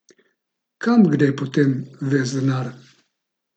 Kam gre potem ves denar?